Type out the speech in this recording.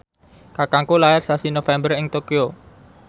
kakangku lair sasi November ing Tokyo